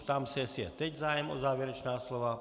Ptám se, jestli je teď zájem o závěrečná slova.